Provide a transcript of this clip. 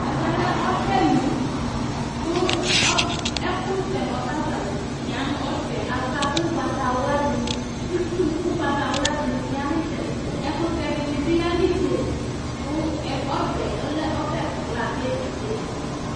Ɛmɛ lɛ ɔbɛ li kʋ ɔbɛ ɛkʋsɛ nʋ ɔbɛ ava yanʋ nʋ ɔbɛ yɛ ava kʋ ʋgbatawla dɩnɩ Itsu kʋ ʋgbatawla dɩnɩ ya nʋ ɩtsɛdɩ-ɩtsɛdɩ Ɛkʋtɛ dɩnɩ bɩ ya nʋ itsenu kʋ ɔbɛ yɛ lɛ ɔbɛ kla kʋ ebe